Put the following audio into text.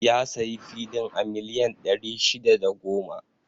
Ya sayi filin a miliyan ɗari shida da goma